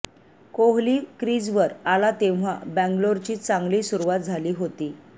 कोहली क्रीजवर आला तेव्हा बँगलोरची चांगली सुरुवात झाली होती